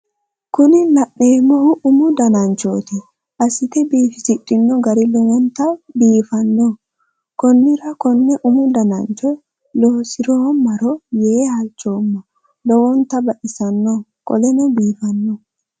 Kuni La'neemmohu umu dananchooti assitte biifisidhino gari lowontta biifanno konnira konne umu danchocho loosiroommaro yee halchoomma lowontta baxissanno qoleno biifanno